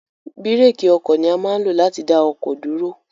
Bireki oko ni a ma nlo lati da oko duro